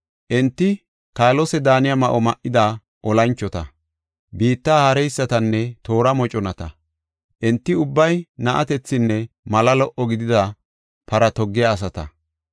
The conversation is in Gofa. Enti kaalose daaniya ma7o ma7ida olanchota, biitta haareysatanne toora moconata; enti ubbay na7atethinne mala lo77o gidida para toggiya asata.